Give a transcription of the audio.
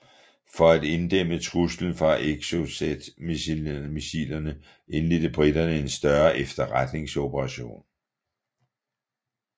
For at inddæmme truslen fra Exocetmissilerne indledte briterne en større efterretningsoperation